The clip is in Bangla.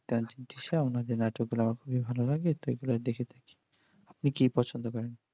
নাটক গুলো আমার খুবই ভালো লাগে ওই গুলা দেখে ফেলছি আপনি কি পছন্দ করেন